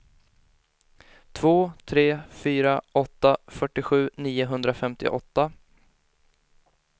två tre fyra åtta fyrtiosju niohundrafemtioåtta